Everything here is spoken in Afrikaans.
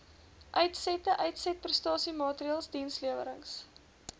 uitsette uitsetprestasiemaatreëls dienslewerings